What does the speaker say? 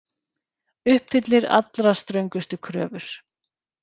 Uppfyllir allra ströngustu kröfur